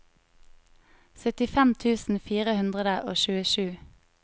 syttifem tusen fire hundre og tjuesju